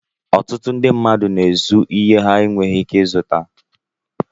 Ọtụtụ ndị mmadụ na-ézu ìhè ha na-enweghi íké izụta